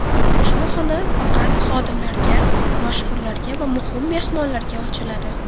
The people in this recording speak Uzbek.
Ushbu xona faqat xodimlarga, mashhurlarga va muhim mehmonlarga ochiladi.